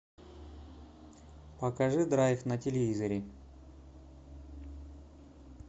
покажи драйв на телевизоре